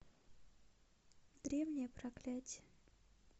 древнее проклятие